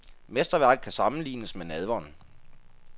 Mesterværket kan sammenlignes med nadveren.